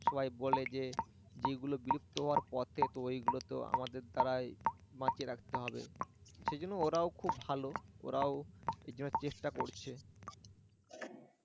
সবাই বলে যে যেগুলো বিলুপ্ত হওয়ার পথে তো ওইগুলো তো আমাদের দ্বারাই বাঁচিয়ে রাখতে হবে সেই জন্য ওরাও খুব ভালো ওরা ওই জন্য চেষ্টা করছে